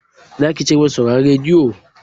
Zaki ci gaba da sauraron radiyo?